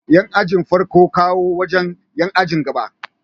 Yan ajin farko na kowo wajan Yan ajin gaba